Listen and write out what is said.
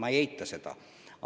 Ma ei eita seda.